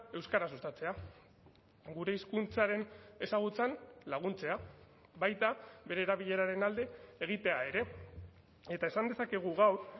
euskara sustatzea gure hizkuntzaren ezagutzan laguntzea baita bere erabileraren alde egitea ere eta esan dezakegu gaur